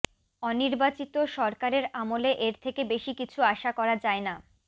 অনির্বাচিত সরকারের আমলে এর থেকে বেশি কিছু আশা করা যায়না